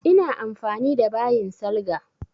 Ina amfani da bayin salga.